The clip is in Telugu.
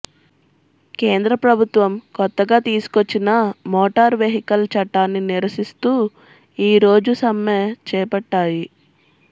కేంద్ర ప్రభుత్వం కొత్తగా తీసుకొచ్చిన మోటార్ వెహికల్ చట్టాన్ని నిరసిస్తూ ఈ రోజు సమ్మె చేపట్టాయి